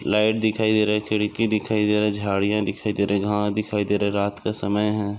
Light दिखाई दे रही खिड़की दिखाई दे रही झाडिया दिखाई दे रही दिखाई दे रहा रात का समय है।